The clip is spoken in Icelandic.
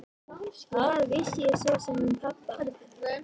Hvað vissi ég svo sem um pabba?